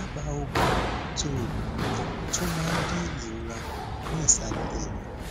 daba oògùn tó oògùn tó máa ń dín ìrora ku ni isale eyin